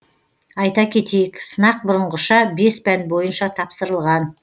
айта кетейік сынақ бұрынғыша бес пән бойынша тапсырылған